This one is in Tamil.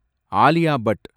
ஆலியா பட்